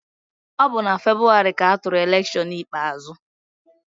Ọ bụ na Febụwarị ka atụrụ elekshọn ikpeazụ.